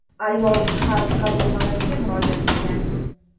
Ayol Xalq qabulxonasiga murojaat qilgan.